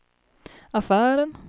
affären